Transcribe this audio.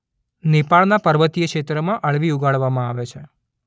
નેપાળના પર્વતીય ક્ષેત્રોમાં અળવી ઉગાડવામાં આવે છે.